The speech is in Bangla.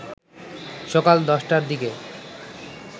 সকাল ১০টার দিকে